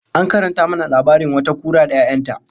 An karanta mana labarin wata kura da 'ya'yan ta